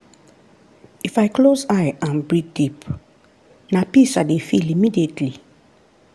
if i close eye and breathe deep na peace i dey feel immediately.